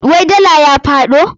Wai dala ya faɗo?